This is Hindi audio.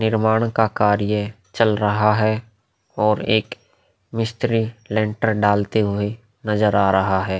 निर्माण का कार्य चल रहा है और एक मिस्त्री लेन्टर डालते हुए नजर आ रहा है।